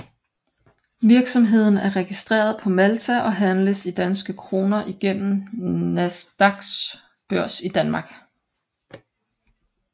Virksomheden er registreret på Malta og handles i danske kroner igennem Nasdaqs børs i Danmark